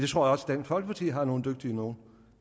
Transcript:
tror også dansk folkeparti har nogle dygtige nogle